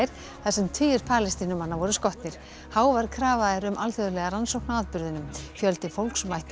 þar sem tugir Palestínumanna voru skotnir hávær krafa er um alþjóðlega rannsókn á atburðunum fjöldi fólks mætti á